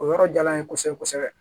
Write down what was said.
O yɔrɔ jala n ye kosɛbɛ kosɛbɛ